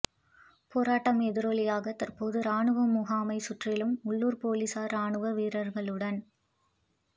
போராட்டம் எதிரொலியாக தற்போது ராணுவ முகாமை சுற்றிலும் உள்ளூர் போலீசார் ராணுவ வீரர்களுடன்